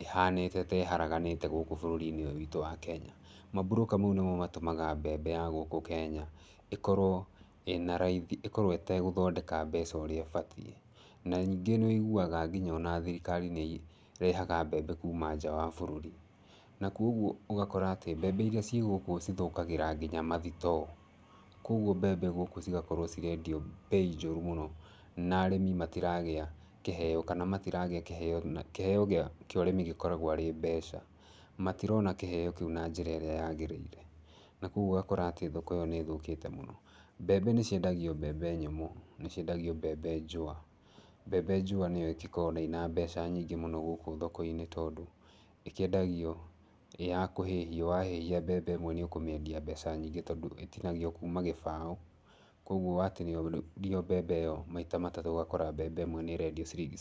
ĩhanĩte ta ĩharaganĩte gũkũ bũrũri-inĩ ũyũ witũ wa Kenya. Mamburũka mau nĩmo matũmaga mbembe ya gũkũ Kenya, ĩkorwo ĩna raithi, ĩkorwo ĩtegũthondeka mbeca ũrĩa ĩbatiĩ. Na ningĩ nĩ wĩiguaga nginya ona thirikari nĩ ĩrehaga mbembe kuuma nja wa bũrũri. Na koguo ũgakora atĩ mbembe irĩa ci gũkũ cithũkagĩra nginya mathitoo. Koguo mbembe gũkũ cigakorwo cirendio mbei njũru mũno. Na arĩmi matiragĩa kĩheo, kana matarigĩa kĩheo, na kĩheo kĩa ũrĩmi gĩkoragwo arĩ mbeca. Matirona kĩheeo kĩu na njĩra ĩrĩa yagĩrĩire. Na kũguo ũgakora atĩ thoko ĩyo nĩ ĩthũkĩte mũno. Mbembe nĩ ciendagio mbembe nyũmũ, nĩ ciendagio mbembe njũa. Mbembe njũa nĩyo ĩgĩkoragwo ĩna mbeca nyingĩ mũno gũkũ thoko-inĩ tondũ, ĩkĩendagio ĩ ya kũhĩhio. Wahĩhia mbembe ĩmwe nĩ ũkũmĩendia mbeca nyingĩ tondũ ĩtinagio kuma gĩbaũ. Kũguo watinĩrio mbembe ĩyo maita matatũ ũgakora mbembe ĩyo nĩ ĩrendio ciringi sixty.